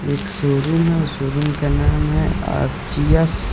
एक शोरूम है शोरूम का नाम है आर_जी_एस ।